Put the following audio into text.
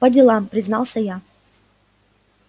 по делам признался я